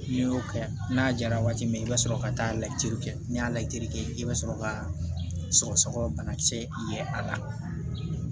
N'i y'o kɛ n'a jara waati min i bɛ sɔrɔ ka taa lajɛli kɛ n'i y'a lajali kɛ i bɛ sɔrɔ ka sɔgɔsɔgɔ banakisɛ ye a la